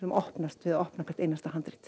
opnast við að opna hvert einasta handrit